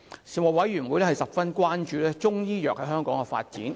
事務委員會十分關注中醫藥在香港的發展。